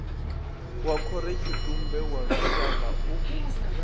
wa khorotshitumbe wa lushaka u